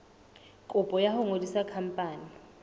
kopo ya ho ngodisa khampani